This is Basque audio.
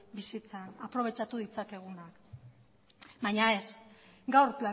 bizitzan aprobetxatu ditzakegunak baina ez gaur